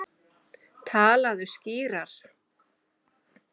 Talaðu skýrar.